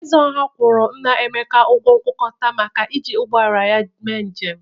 Ezeọha kwọrọ nna Emeka ọgwọ nkwụkọta maka iji ụgbọ ala ya mee njem.